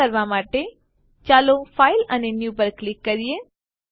આ કરવા માટે ચાલો ફાઇલ અને ન્યૂ પર ક્લિક કરીએ